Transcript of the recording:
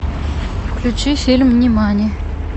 включи фильм нимани